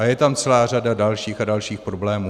A je tam celá řada dalších a dalších problémů.